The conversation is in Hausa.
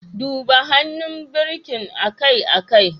Duba hannun birkin akai-akai.